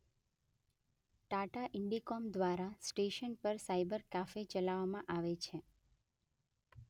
Tata Indicom દ્વારા station પર cyber cafe ચલાવવામાં આવે છે.